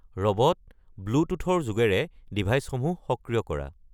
robot, ব্লুটুথৰ যোগেৰে ডিভাইচসমূহ সক্ৰিয় কৰা